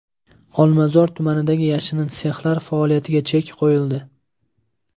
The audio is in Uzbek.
Olmazor tumanidagi yashirin sexlar faoliyatiga chek qo‘yildi.